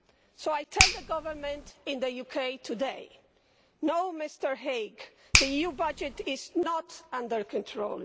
So I tell the Government in the UK today no, Mr Hague, the EU budget is not under control